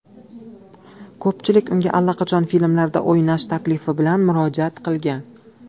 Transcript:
Ko‘pchilik unga allaqachon filmlarda o‘ynash taklifi bilan murojaat qilgan.